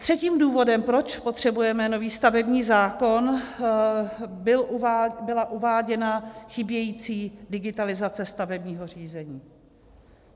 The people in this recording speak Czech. Třetím důvodem, proč potřebujeme nový stavební zákon, byla uváděna chybějící digitalizace stavebního řízení.